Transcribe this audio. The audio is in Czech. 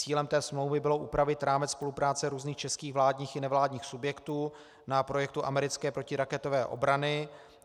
Cílem té smlouvy bylo upravit rámec spolupráce různých českých vládních i nevládních subjektů na projektu americké protiraketové obrany.